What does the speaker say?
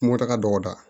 Mɔta ka dɔgɔya